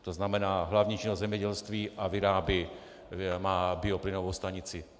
To znamená hlavní činnost zemědělství a vyrábí, má bioplynovou stanici.